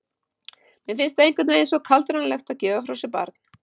Mér finnst það einhvern veginn svo kaldranalegt að gefa frá sér barn.